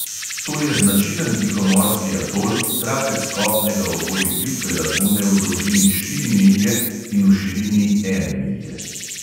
To je značilen tihomorski atol, trakec kopnega okoli plitve lagune v dolžini štiri milje in v širini ene milje.